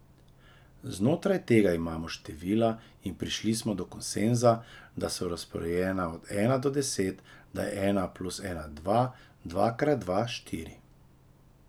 Znotraj tega imamo števila in prišli smo do konsenza, da so razporejena od ena do deset, da je ena plus ena dva, dva krat dva štiri.